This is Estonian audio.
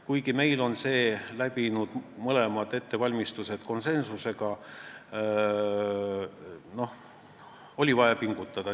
Kuigi meil on eelnõu läbinud mõlemad ettevalmistused konsensusega, oli vaja pingutada.